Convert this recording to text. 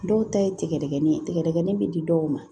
Dɔw ta ye tigɛdɛgɛ ye tigɛdɛgɛ bɛ di dɔw ma